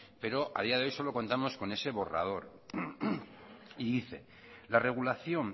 pero a día de hoy solo contamos con este borrador y dice la regulación